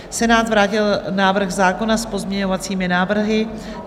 Senát vrátil návrh zákona s pozměňovacími návrhy.